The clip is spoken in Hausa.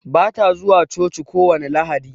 Bata zuwa coci kowani Lahadi